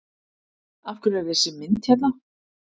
Af hverju er þessi mynd hérna?